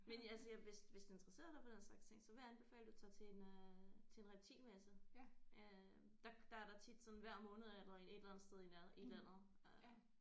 Men ja altså hvis hvis du interesserer dig for den slags ting så ville jeg anbefale du tager til en øh til en reptilmesse øh der der er der tit sådan hver måned er der et eller andet sted i nærheden i landet